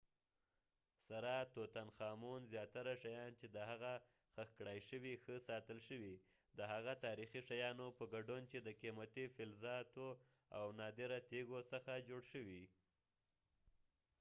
زیاتره شیان چې د tutankhamun سره خښ کړای شوي ښه ساتل شوي د هغه تاریخي شیانو په ګډون چې د قیمتي فلزاتو او نادره تیږو څخه جوړ شوي